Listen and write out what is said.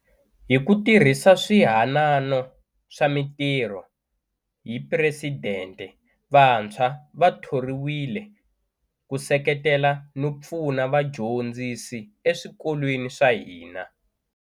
Hi ku tirhisa Swihanano swa Mitirho hi Presidente vantshwa va thoriwile ku seketela no pfuna vadyondzisi eswikolweni swa hina.